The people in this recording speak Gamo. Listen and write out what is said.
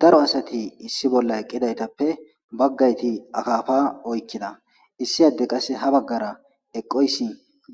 Daro asati issi boolla eqqidaytappe bagati akappa oyiqqida issi addey ha bagara eqiday